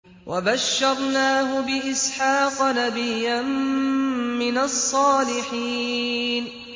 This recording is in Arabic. وَبَشَّرْنَاهُ بِإِسْحَاقَ نَبِيًّا مِّنَ الصَّالِحِينَ